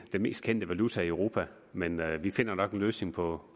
den mest kendte valuta i europa men vi finder nok en løsning på